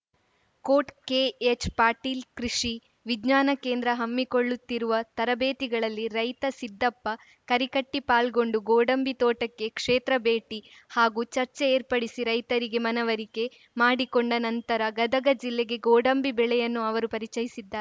coat K H Patil ಕೃಷಿ ವಿಜ್ಞಾನ ಕೇಂದ್ರ ಹಮ್ಮಿಕೊಳ್ಳುತ್ತಿರುವ ತರಬೇತಿಗಳಲ್ಲಿ ರೈತ ಸಿದ್ದಪ್ಪ ಕರಿಕಟ್ಟಿಪಾಲ್ಗೊಂಡು ಗೋಡಂಬಿ ತೋಟಕ್ಕೆ ಕ್ಷೇತ್ರ ಭೇಟಿ ಹಾಗೂ ಚರ್ಚೆ ಏರ್ಪಡಿಸಿ ರೈತರಿಗೆ ಮನವರಿಕೆ ಮಾಡಿಕೊಂಡ ನಂತರ ಗದಗ ಜಿಲ್ಲೆಗೆ ಗೋಡಂಬಿ ಬೆಳೆಯನ್ನು ಅವರು ಪರಿಚಯಿಸಿದ್ದಾ